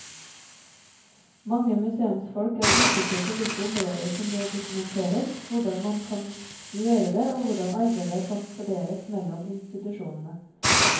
Mange museumsfolk er usikre på hvilke områder som bør dokumenteres, hvordan man kan gjøre det og hvordan arbeidet kan fordeles mellom institusjonene.